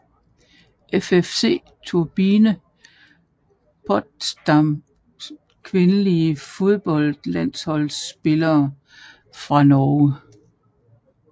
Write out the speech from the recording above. FFC Turbine Potsdam Kvindelige fodboldlandsholdsspillere fra Norge